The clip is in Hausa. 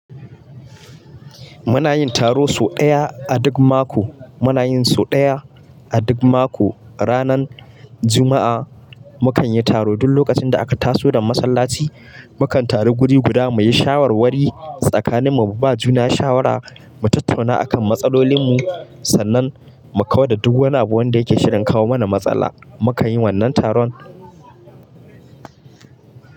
Muna yin taro sau ɗaya a duk mako. Muna yin sau ɗaya a duk mako. Ranar Juma'a mukan yi taro duk lokacin da aka taso daga masallaci. Mu kan taru guri guda muyi shawarwari tsakanin mu. Mu ba ma juna shawara, mu tattauna a kan matsalolin mu sannan mu kawar da duk wani abu wanda yake shirin kawo mana matsala. Mu kan yi wannan taron.